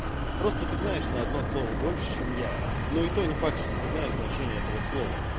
просто ты знаешь на одно слово больше чем я но это не факт что ты знаешь значение этого слова